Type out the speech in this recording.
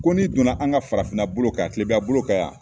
Ko n'i donna an ka farafinna bolo ka yan kilebiya bolo ka yan